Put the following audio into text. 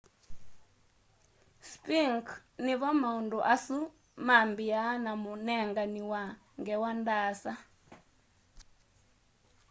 sphinx nivo maundu asu mabiaa na munengani wa ngewa ndaasa